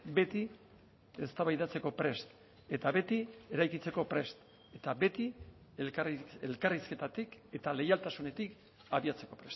beti eztabaidatzeko prest eta beti eraikitzeko prest eta beti elkarrizketatik eta leialtasunetik abiatzeko